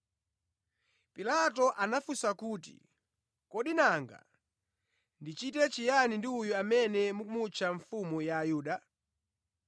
Pilato anawafunsa kuti, “Kodi nanga ndichite chiyani ndi uyu amene mukumutcha mfumu ya Ayuda?”